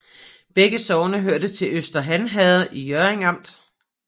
Begge sogne hørte til Øster Han Herred i Hjørring Amt